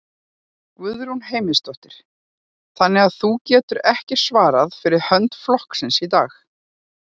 Guðrún Heimisdóttir: Þannig að þú getur ekki svarað fyrir hönd flokksins í dag?